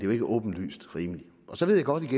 jo ikke åbenlyst rimeligt så ved jeg godt at